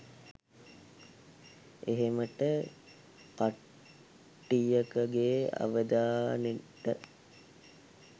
එහෙමට කට්ටියකගෙ අවධානෙට